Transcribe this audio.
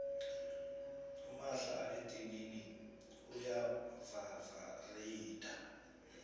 umahla edinini uya vavareyitha